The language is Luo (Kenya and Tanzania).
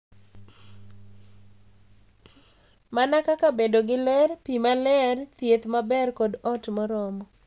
Mana kaka bedo gi ler, pi maler, thieth maber, kod ot moromo.